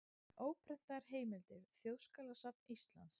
Óprentaðar heimildir: Þjóðskjalasafn Íslands.